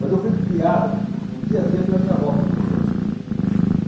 Mas eu fui criado, no dia a dia, pela minha avó, pro propriamente dito.